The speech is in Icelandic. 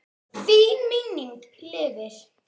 Þín minning lifir.